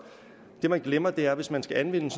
det man glemmer er at hvis man skal anvende